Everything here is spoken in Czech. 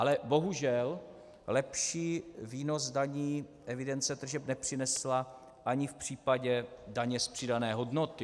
Ale bohužel lepší výnos daní evidence tržeb nepřinesla ani v případě daně z přidané hodnoty.